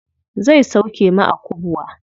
Zai sauke mu a kubwa.